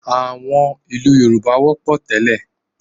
À̀wọn ìlú Yorùbá wọ́pọ̀ tẹ́lẹ̀